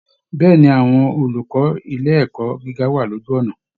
Bẹ́ẹ̀ ni, àwọn olùkọ́ ilé ẹ̀kọ́ gíga wà ní ojú ọ̀nà